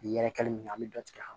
Yɛrɛkɛli min an mi dɔ tigɛ a kan